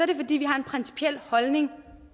det fordi vi har en principiel holdning